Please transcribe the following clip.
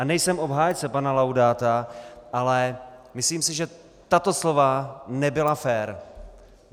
A nejsem obhájce pana Laudáta, ale myslím si, že tato slova nebyla fér.